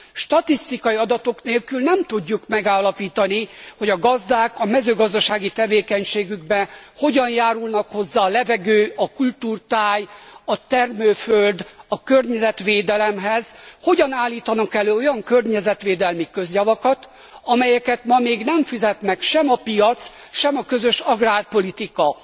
Statisztikai adatok nélkül nem tudjuk megállapítani, hogy a gazdák a mezőgazdasági tevékenységükkel hogyan járulnak hozzá a levegő, a kultúrtáj, a termőföld, a környezet védeleméhez, hogyan állítanak elő olyan környezetvédelmi közjavakat, amelyeket ma még nem fizet meg sem a piac, sem a közös agrárpolitika.